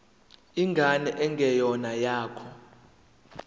ingane engeyona eyakho